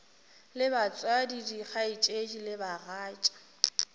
le batswadi dikgaetšedi le bagatša